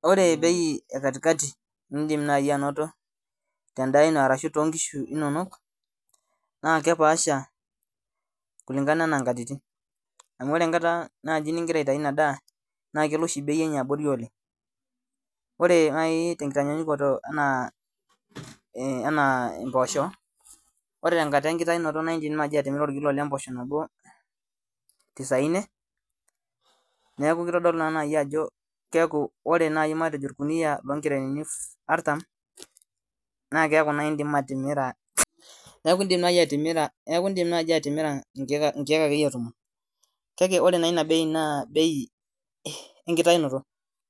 Ore bei e katikati nindim naai anoto tendaa ino arashu tonkishu inonok naa kepaasha kulingana anaa inkatitin amu ore enkata naaji ningira aitai ina daa naa kelo oshi bei enye abori oleng ore naai tenkitanyanyukoto anaa eh anaa impoosho ore tenkata enkitainoto naindim naaji atimira orkilo lempoosho nabo tisaine neku kitodolu naa naai ajo keeku ore naai matejo orkuniyia matejo oloo nkerenini artam naa keeku naai indim atimira neeku indim naai atimira neeku indim naaji atimira inkee inkeek akeyie tomon kake ore naa ina bei naa bei enkitainoto